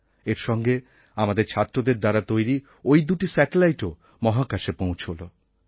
এর সঙ্গে আমাদের ছাত্রদের দ্বারা তৈরি ওই দুটি স্যাটেলাইটও মহাকাশে পৌঁছলো